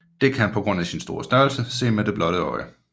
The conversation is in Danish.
Det kan på grund af sin store størrelse ses med det blotte øje